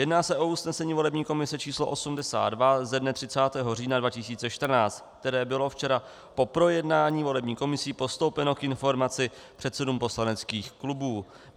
Jedná se o usnesení volební komise číslo 82 ze dne 30. října 2014, které bylo včera po projednání volební komisí postoupeno k informaci předsedům poslaneckých klubů.